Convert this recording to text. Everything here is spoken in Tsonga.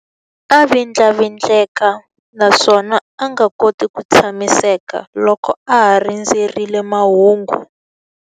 A vindlavindleka naswona a nga koti ku tshamiseka loko a ha rindzerile mahungu.